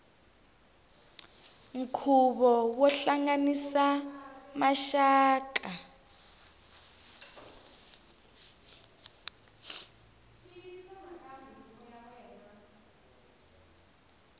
nkhuvo wo hlanganisa maxaka